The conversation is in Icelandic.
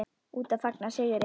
Úti að fagna sigri.